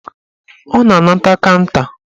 Ọ na-anata kanta